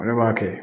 Ale b'a kɛ